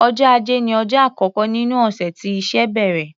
Ọjọ́ Ajé ní ọjọ́ àkọ́kọ́ nínú ọ̀sẹ̀ tí iṣẹ́ bẹ̀rẹ̀.